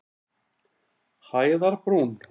Hæðarbrún